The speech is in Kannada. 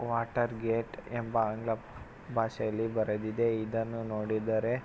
ವಾಟರ್ ಗೇಟ್ ಎಂಬ ಆಂಗ್ಲ ಬಾಷೆಯಲ್ಲಿ ಬರೆದಿದೆ ಇದನ್ನು ನೋಡಿದರೆ --